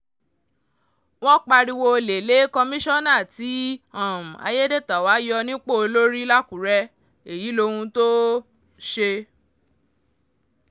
wọ́n pariwo olè lé kọmíṣánná tí um ayédètàwá yọ nípò lórí làkùrẹ́ èyí lohun tó um ṣe